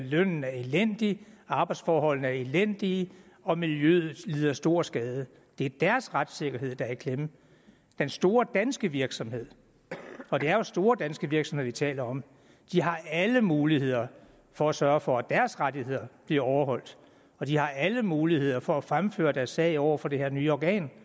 lønnen er elendig arbejdsforholdene er elendige og miljøet lider stor skade det er deres retssikkerhed der er i klemme den store danske virksomhed for det er jo store danske virksomheder vi taler om har alle muligheder for at sørge for at deres rettigheder bliver overholdt og de har alle muligheder for at fremføre deres sag over for det her nye organ